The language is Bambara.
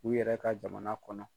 U yɛrɛ ka jamana kɔnɔ